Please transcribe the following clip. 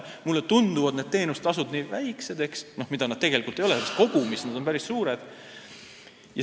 Mulle tunduvad teenustasud nii väiksed, kuigi tegelikult ei ole, sest kogumis on need päris suured.